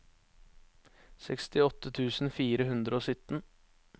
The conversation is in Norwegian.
sekstiåtte tusen fire hundre og sytten